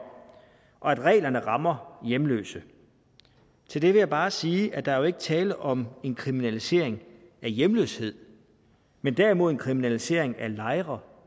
at reglerne rammer hjemløse til det vil jeg bare sige at der jo ikke er tale om en kriminalisering af hjemløshed men derimod en kriminalisering af lejre